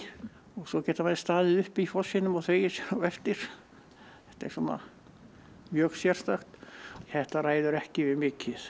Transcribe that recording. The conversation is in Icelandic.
og svo geta menn staðið upp í fossinum og þvegið sér á eftir þetta er mjög sérstakt þetta ræður ekki við mikið